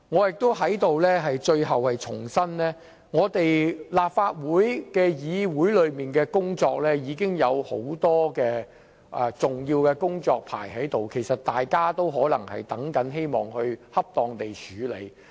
最後我在這裏重申，立法會議程上已經有很多重要的工作尚待我們處理，大家希望可以恰當處理有關工作。